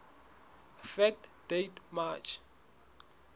fact date march